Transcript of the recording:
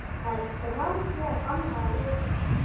ÞAÐ ER STRANGLEGA BANNAÐ AÐ REYKJA!